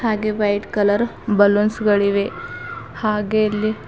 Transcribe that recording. ಹಾಗೆ white colour balloons ಗಳಿವೆ ಹಾಗೆ ಇಲ್ಲಿ--